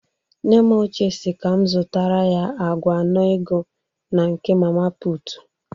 Nne m ochie si ka m zụtara ya agwa nnụ ego na nke mama pụtụ